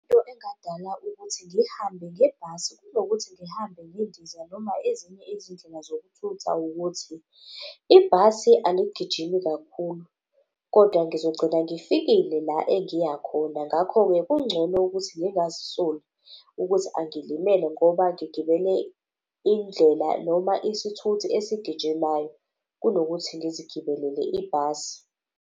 Into engadala ukuthi ngihambe ngebhasi kunokuthi ngihambe ngendiza noma ezinye izindlela zokuthutha ukuthi ibhasi aligijimi kakhulu, kodwa ngizogcina ngifikile la engiyakhona. Ngakho-ke, kungcono ukuthi ngingazisoli ukuthi angilimele ngoba ngigibele indlela noma isithuthi esigijimayo kunokuthi ngizigibelele ibhasi.